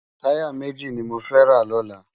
Tàyá méji ni mó fè rá lòlá